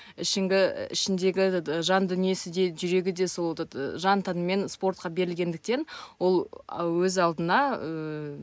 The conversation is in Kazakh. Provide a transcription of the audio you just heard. ішіндегі этот жан дүниесі де жүрегі де сол этот жан тәнімен спортқа берілгендіктен ол өз алдына ііі